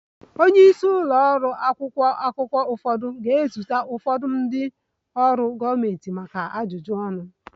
Onye isi ụlọ ọrụ akwụkwọ akụkọ ụfọdụ ga-ezute ụfọdụ ndị ọrụ gọọmentị maka ajụjụ ọnụ